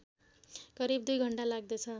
करिब २ घण्टा लाग्दछ